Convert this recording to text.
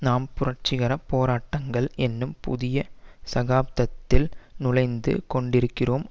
நாம் புரட்சி கர போராட்டங்கள் என்னும் புதிய சகாப்தத்தில் நுழைந்து கொண்டிருக்கிறோம்